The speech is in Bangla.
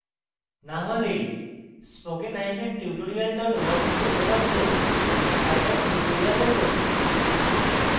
না হলে spokentutorial org তে উপলব্ধ scilab tutorials দেখুন